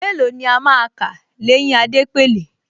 Mélòó ni a máa kà l’éyín Adépèlé